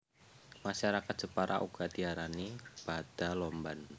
Masyarakat Jepara uga diarani bada lomban